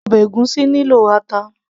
ọbẹ̀ ègúsí nílò ata